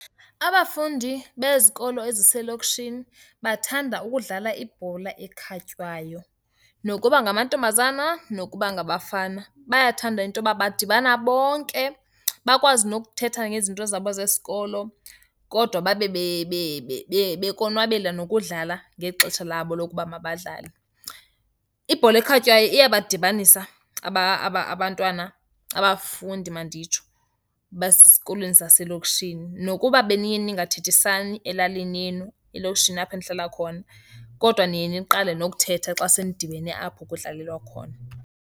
Abafundi bezikolo ezisezilokishini bathanda ukudlala ibhola ekhatywayo. Nokuba ngamantombazana, nokuba ngabafana, bayathanda into yoba badibana bonke bakwazi nokuthetha ngezinto zabo zesikolo, kodwa babe bekonwabela nokudlala ngexesha labo lokuba mabadlale. Ibhola ekhatywayo iyadibanisa abantwana, abafundi manditsho, basikolweni zaselokishini. Nokuba beniye ningathethisani elalini yenu, elokishini apho enihlala khona, kodwa niye niqale nokuthetha xa senidibene apho kudlalelwa khona.